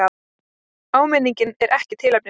Áminningin er ekki tilefnislaus.